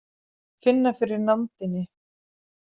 Finna fyrir nándinni.